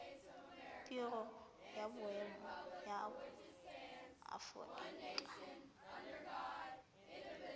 biro ya boemo ya aforika